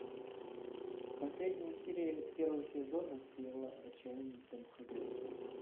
последняя серия первого сезона сериала отчаянные домохозяйки